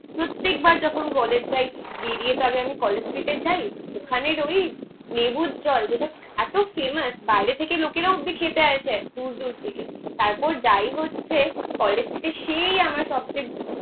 প্রত্যেকবার যখন কলেজ যায় বেরিয়ে তো আগে আমি কলেজ স্ট্রিটে যায় ওখানের ওই লেবুর জল যেটা এতো ফেমাস বাইরে থেকে লোকেরা অবধি খেতে আসে দূর দূর থেকে। তারপর যায় হচ্ছে কলেজ স্ট্রিটের সেই আমার সব থেকে